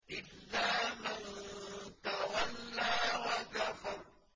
إِلَّا مَن تَوَلَّىٰ وَكَفَرَ